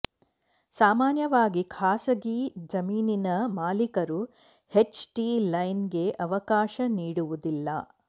ಸಾಮಾನ್ಯವಾಗಿ ಖಾಸಗಿ ಜಮೀನಿನ ಮಾಲೀಕರು ಎಚ್ ಟಿ ಲೈನ್ ಗೆ ಅವಕಾಶ ನೀಡುವುದಿಲ್ಲ